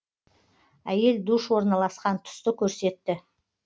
әйел душ орналасқан тұсты көрсетті